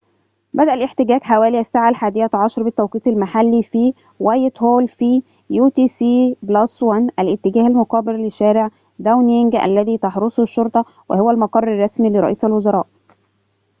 بدأ الاحتجاج حوالي الساعة 11:00 بالتوقيت المحلي utc+1 في وايتهول في الاتجاه المقابل لشارع داونينج الذي تحرسه الشرطة وهو المقر الرسمي لرئيس الوزراء